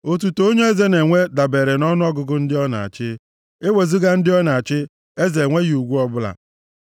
Otuto onye eze na-enwe dabeere nʼọnụọgụgụ ndị ọ na-achị, e wezuga ndị ọ na-achị, eze enweghị ugwu ọbụla.